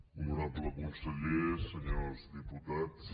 honorable conseller senyors diputats